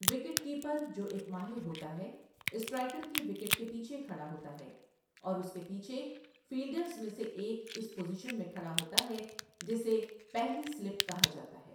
Wicket keeper, جو ایک ماہر ہوتا ہے، اسٹرائیکر کی وکٹ کے پیچھے کھڑا ہوتا ہے اور اس کے پیچھے فیلڈرز میں سے ایک اس پوزیشن میں کھڑا ہوتا ہے جسے 'پہلی سلپ' کہا جاتا ہے۔